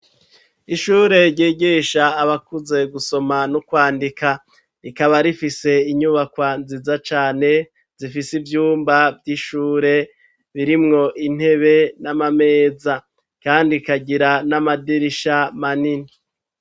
Ishure ryigisha abakuze gusoma no kwandika rikaba rifise inyubako nziza cane zifise ivyumba vy'ishure birimwo intebe n'amameza kandi ikagira n'amadirisha manini